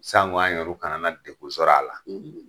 Sango anw yɛrɛ kana na degun sɔrɔ a la.